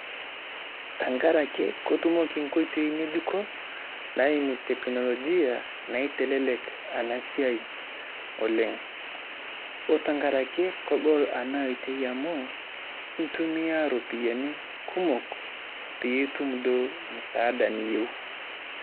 Tang'araki kotumoki nkotoi ng'ejuko naiimu teknolojia naitelelek ana siaii oleng . Ore tang'araki kogol ana ootei amu itumia ropiani kumook piitum doo msaada niyeu.